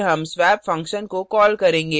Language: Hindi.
फिर हम swap function को कॉल करेंगे